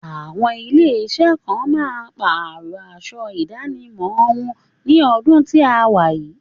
Àwọn ilé iṣẹ́ kan máa pàrọ̀ aṣọ ìdánimọ̀ wọn ní ọdún tí a wà yìí